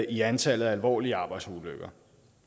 i antallet af alvorlige arbejdsulykker